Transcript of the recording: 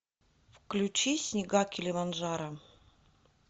включи снега килиманджаро